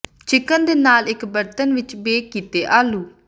chicken ਦੇ ਨਾਲ ਇੱਕ ਬਰਤਨ ਵਿੱਚ ਬੇਕ ਕੀਤੇ ਆਲੂ